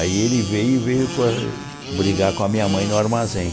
Aí ele veio e veio com brigar com a minha mãe no armazém.